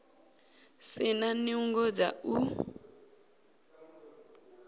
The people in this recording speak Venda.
si na nungo dza u